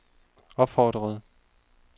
opfordrede